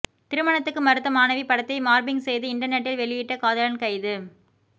திருமணத்துக்கு மறுத்த மாணவி படத்தை மார்பிங் செய்து இன்டர்நெட்டில் வெளியிட்ட காதலன் கைது